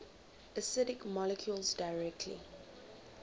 acidic molecules directly